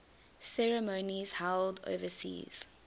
ceremonies held overseas